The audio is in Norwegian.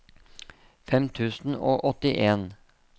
fem tusen og åttien